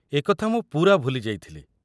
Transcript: ଏ କଥା ମୁଁ ପୂରା ଭୁଲି ଯାଇଥିଲି।